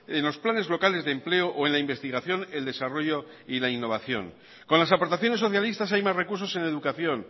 en los planes locales de empleo o en la investigación el desarrollo y la innovación con las aportaciones socialistas hay más recursos en educación